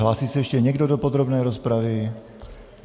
Hlásí se ještě někdo do podrobné rozpravy?